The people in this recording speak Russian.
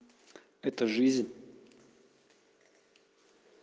это жизнь